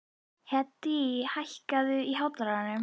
Hedí, hækkaðu í hátalaranum.